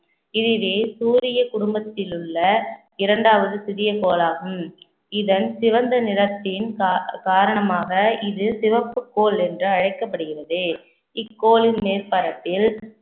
இதுவே சூரிய குடும்பத்தில் உள்ள இரண்டாவது சிறிய கோளாகும் இதன் சிவந்த நிறத்தின் கா~ காரணமாக இது சிவப்பு கோள் என்று அழைக்கப்படுகிறது இக்கோளின் மேற்பரப்பில்